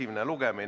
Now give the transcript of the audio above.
Number 3.